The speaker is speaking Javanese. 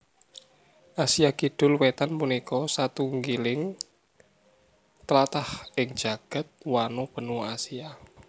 Asia Kidul Wétan punika satunggiling tlatah ing jagad wano benua Asia